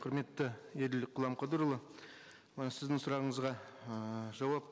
құрметті еділ құламқадырұлы ы сіздің сұрағыңызға ыыы жауап